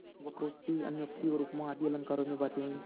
वक्रोक्ति अन्योक्ति और उपमा आदि अलंकारों में बातें हुईं